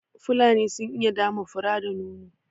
Fulani sun iya dama fura da nono